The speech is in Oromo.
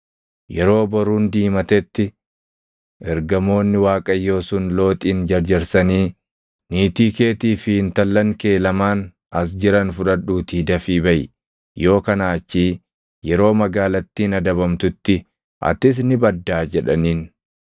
Yeroo boruun diimatetti ergamoonni Waaqayyoo sun Looxin jarjarsanii, “Niitii keetii fi intallan kee lamaan as jiran fudhadhuutii dafii baʼi! Yoo kanaa achii yeroo magaalattiin adabamtutti atis ni baddaa” jedhaniin.